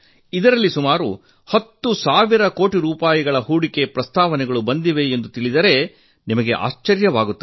ಅದರಲ್ಲಿ ಸುಮಾರು ಹತ್ತು ಸಾವಿರ ಕೋಟಿ ರೂಪಾಯಿ ಹೂಡಿಕೆ ಪ್ರಸ್ತಾವ ಬಂದಿವೆ ಎಂದು ತಿಳಿದರೆ ನಿಮಗೆ ಅಚ್ಚರಿಯಾಗುತ್ತದೆ